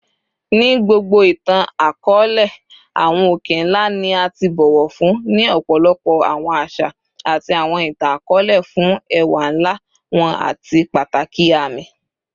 Ni gbogbo itan-akọọlẹ, awọn oke-nla ni a ti bọwọ fun ni ọpọlọpọ awọn aṣa ati awọn itan-akọọlẹ fun ẹwa nla wọn ati pataki aami.